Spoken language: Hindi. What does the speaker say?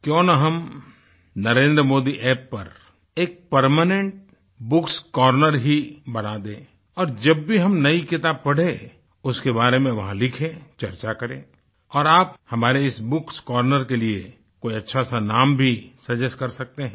क्यों ना हम NarendraModiApp पर एक परमेनेंट bookएस कॉर्नर ही बना दें और जब भी हम नई किताब पढ़ें उसके बारे में वहाँ लिखें चर्चा करें और आप हमारे इस bookएस कॉर्नर के लिए कोई अच्छा सा नाम भी सजेस्ट कर सकते हैं